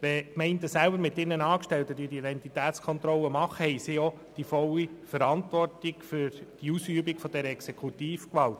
Wenn die Gemeinden mit ihren Angestellten die Identitätskontrollen durchführen, tragen sie die volle Verantwortung für die Ausübung dieser Exekutivgewalt.